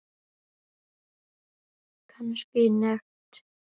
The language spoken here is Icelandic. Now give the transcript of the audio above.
Kannski nekt.